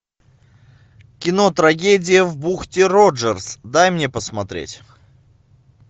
кино трагедия в бухте роджерс дай мне посмотреть